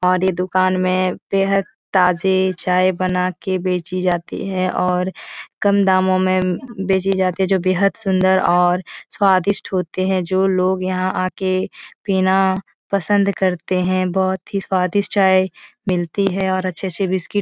और ये दूकान में बेहद ताज़ी चाय बनाके बेचीं जाती है और काम दामों में बेचीं जाती जो बेहद सुंदर और स्वादिष्ट होते हैं। जो लोग यहाँ आके पीना पसंद करते है। बहुत ही स्वादिष्ट चाय मिलती है और अच्छे से बिस्कुट --